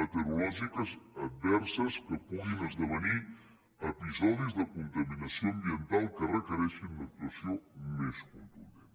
meteorològiques adverses que puguin esdevenir episodis de contaminació ambiental que requereixin una actuació més contundent